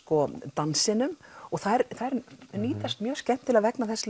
dansi og þær nýtast mjög skemmtilega vegna þess